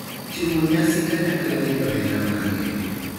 timo nyasi kanyakla gi johera mage